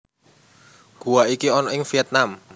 Guwa iki ana ing Vietnam